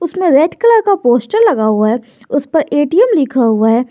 इसमें red colour का poster लगा हुआ है उस पर ए_टी_एम लिखा हुआ है।